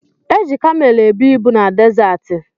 Eji kamelu ebu ibu na dezaati.